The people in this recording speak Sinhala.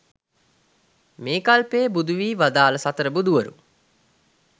මේ කල්පයේ බුදු වී වදාළ සතර බුදුවරු